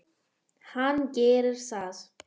Hann gerir það.